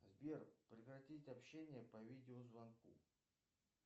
сбер прекратить общение по видеозвонку